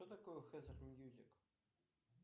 что такое хезер мьюзик